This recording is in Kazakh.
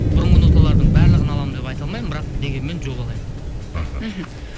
бұрынғы ноталардың барлығын аламын деп айта алмаймын бірақ дегенмен жобалаймын мхм